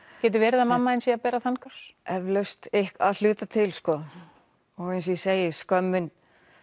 getur verið að mamma þín sé að bera þann kross eflaust að hluta til sko og eins og ég segi skömmin